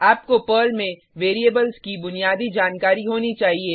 आपको पर्ल में वेरिएबल्स की बुनियादी जानकारी होनी चाहिए